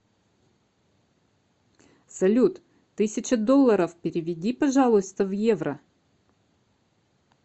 салют тысяча долларов переведи пожалуйста в евро